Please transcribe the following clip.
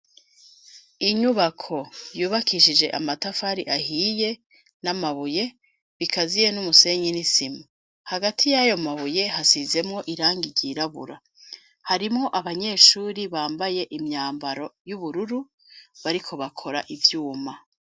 Inyubako yubakishije amatafari ahiye ,n'amabuye bikaziye n'umusenyi n'isima ,hagati y'ayo mabuye hasizemwo irangi ryirabura harimwo abanyeshuri bambaye imyambaro y'ubururu bariko bakora ivyuma